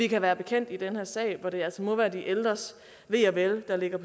kan være bekendt i den her sag hvor det altså må være de ældres ve og vel der ligger